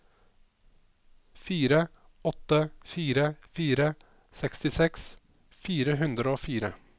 fire åtte fire fire sekstiseks fire hundre og fire